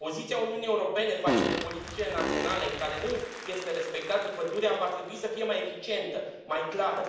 Poziția Uniunii Europene față de politicile naționale în care nu este respectată pădurea va trebui să fie mai eficientă, mai clară.